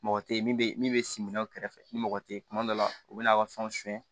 Mɔgɔ tɛ min bɛ min bɛ siminaw kɛrɛfɛ ni mɔgɔ tɛ yen kuma dɔ la u bɛ n'a ka fɛnw suɲɛ